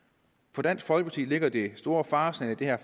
for dansk folkeparti ligger det store faresignal i det her